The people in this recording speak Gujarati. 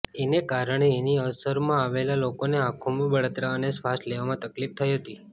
એને કારણે એની અસરમાં આવેલા લોકોને આંખોમાં બળતરા અને શ્વાસ લેવામાં તકલીફ થઈ હતી